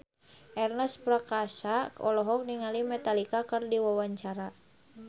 Ernest Prakasa olohok ningali Metallica keur diwawancara